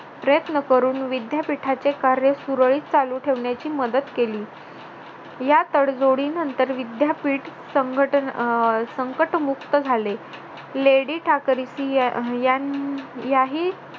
प्रयत्न करून विद्यापीठाचे कार्य सुरळीत चालू ठेवण्याची मदत केली या तडजोडीनंतर विद्यापीठ संकटमुक्त झाले लेडी ठाकरसी याही